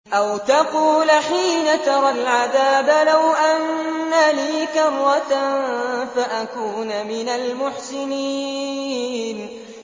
أَوْ تَقُولَ حِينَ تَرَى الْعَذَابَ لَوْ أَنَّ لِي كَرَّةً فَأَكُونَ مِنَ الْمُحْسِنِينَ